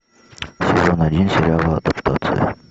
сезон один сериала адаптация